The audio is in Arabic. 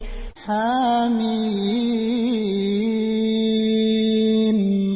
حم